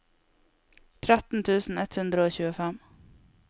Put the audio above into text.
tretten tusen ett hundre og tjuefem